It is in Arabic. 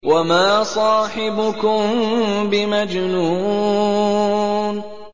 وَمَا صَاحِبُكُم بِمَجْنُونٍ